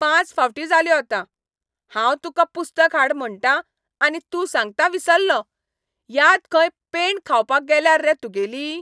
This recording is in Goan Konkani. पांच फावटी जाल्यो आतां. हांव तुका पुस्तक हाड म्हणटां, आनी तूं सांगता विसल्लों. याद खंय पेंण खावपा गेल्यार रे तुगेली?